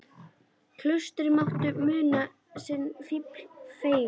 Klaustrið mátti muna sinn fífil fegri.